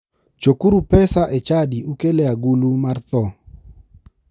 Chokuro pesa e chadi ukel e agulu mar tho.